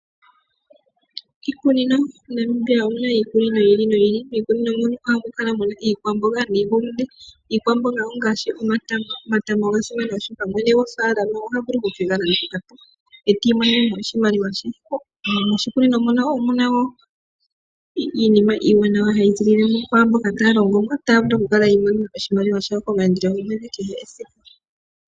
Iikunino MoNamibia omu na iikunino yi ili noyi ili. Miikunino ohamu kala mu na iikwamboga niihulunde. Iikwamboga ongaashi omatama. Omatama oga simana, oshoka mwene gofaalama oha vulu oku ke ga landitha po, e ta imonene oshimaliwa she. Moshikunino mono omu na wo iinima iiwanawa hayi ziilile mo kwaamboka taya longo mo otaya vulu okukala yi imonene oshimaliwa komaandelo gomwedhi.